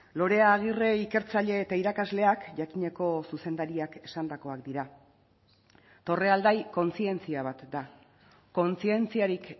lorea agirre ikertzaile eta irakasleak jakineko zuzendariak esandakoak dira torrealdai kontzientzia bat da kontzientziarik